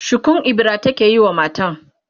shukun ibira take yi wa matan